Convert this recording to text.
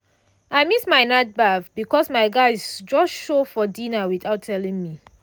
i miss my night baff because my guys just show for dinner without telling me.